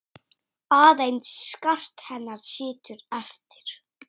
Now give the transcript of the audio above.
Aðeins skart hennar situr eftir.